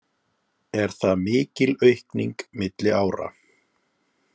Er það mikil aukning milli ára